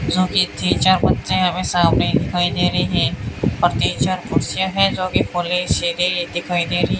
जो कि तीन चार कुत्ते अभी सामने दिखाई दे रहे हैं और तीन चार कुर्सियां हैं जो कि दिखाई दे रही --